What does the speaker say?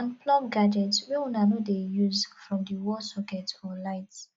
unplug gadgets wey una no dey use from di wall socket or light